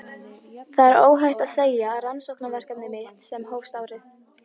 Það er óhætt að segja að rannsóknarverkefni mitt sem hófst árið